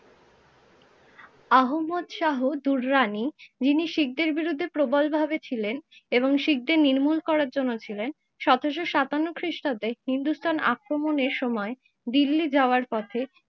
আহম্মদ শাহ দুররানি যিনি শিখদের বিরুদ্ধে প্রবলভাবে ছিলেন এবং শিখদের নির্মূল করার জন্য ছিলেন, সতেরোশো সাতান্ন খিষ্টাব্দে হিন্দুস্থান আক্রমণের সময় দিল্লি যাবার পথে